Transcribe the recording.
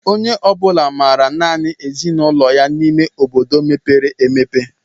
Onye ọbula maara nanị ezinụlọ ya n'ime obodo mepere emepe.